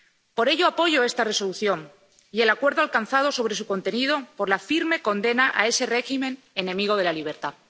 Por ello, apoyo esta Resolución y el acuerdo alcanzado sobre su contenido por la firme condena a ese régimen enemigo de la libertad.